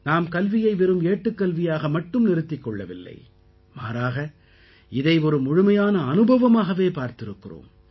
நாம் கல்வியை வெறும் ஏட்டுக்கல்வியாக மட்டும் நிறுத்திக் கொள்ளவில்லை மாறாக இதை ஒரு முழுமையான அனுபவமாகவே பார்த்திருக்கிறோம்